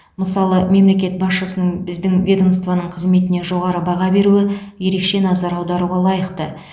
мысалы мемлекет басшысының біздің ведомствоның қызметіне жоғары баға беруі ерекше назар аударуға лайықты